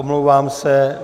Omlouvám se.